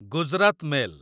Gujarat mail